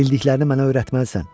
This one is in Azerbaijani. Bildiklərini mənə öyrətməlisən.